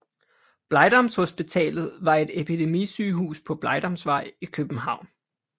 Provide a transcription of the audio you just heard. Blegdamshospitalet var et epidemisygehus på Blegdamsvej i København